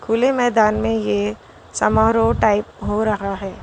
खुले मैदान में ये समारोह टाइप हो रहा है।